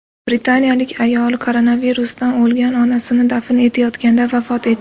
Britaniyalik ayol koronavirusdan o‘lgan onasini dafn etayotganda vafot etdi.